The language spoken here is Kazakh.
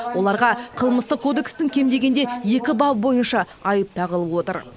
оларға қылмыстық кодекстің кем дегенде екі бабы бойынша айып тағылып отыр